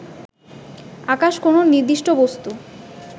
আকাশ কোন নির্দিষ্ট বস্তু